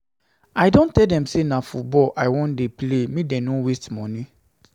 I don tell dem say na football I wan play, make dem no dey waste moni. um